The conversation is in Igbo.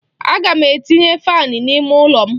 Aga m etinye faanị n'ime ụlọ m.